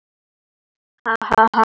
Þær yrðu báðar að horfast í augu við það.